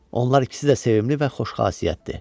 Onlar ikisi də sevimli və xoşxasiyyətdir.